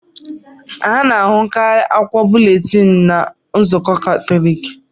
A na-ahụkarị akwụkwọ búlétin na Chọọchị Katọlik